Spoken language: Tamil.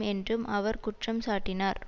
என்றும் அவர் குற்றம் சாட்டினார்